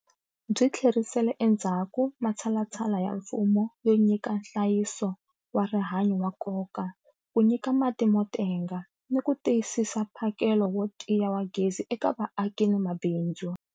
Byi tlherisele endzhaku matshalatshala ya mfumo yo nyika nhlayiso wa rihanyu wa nkoka, ku nyika mati mo tenga, ni ku tiyisisa mphakelo wo tiya wa gezi eka vaaki ni mabindzu.